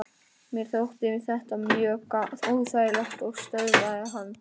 Mér þótti þetta mjög óþægilegt og stöðvaði hann.